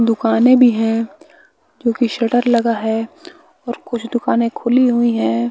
दुकाने भी है जो की शटर लगा है और कुछ दुकानें खुली हुईं है।